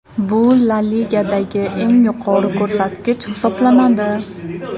Bu La Ligadagi eng yuqori ko‘rsatkich hisoblanadi.